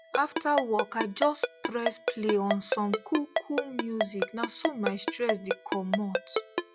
after work i just press play on some coolcool music na so my stress the commot